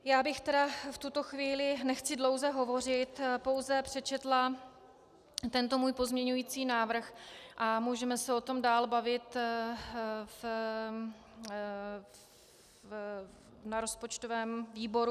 Já bych tedy v tuto chvíli, nechci dlouze hovořit, pouze přečetla tento můj pozměňující návrh a můžeme se o tom dál bavit na rozpočtovém výboru.